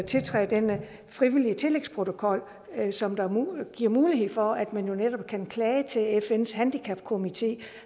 tiltræde den frivillige tillægsprotokol som giver mulighed for at man netop kan klage til fns handicapkomité